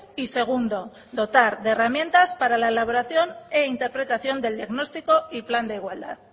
y segundo dotar de herramientas para la elaboración e interpretación del diagnóstico y plan de igualdad